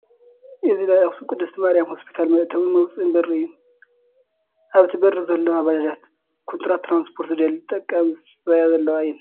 እዚ ናይ ኣኽሱም ቅድስት ማርያም ሆስፒታል መእተውን መውፅእን በሪ እዩ፡፡ ኣብቲ በሪ ዘለዋ ባጃጃት ኩንትራት ትራንስፖርት ዝደሊ ተጠቃሚ ዝፅበያ ዘለዋ እየን፡፡